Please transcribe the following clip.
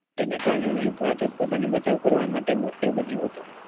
જેના કારણે અહી ભાજપ પોતાને બચાવ કરવા માટે મુશ્કેલ બન્યું હતું.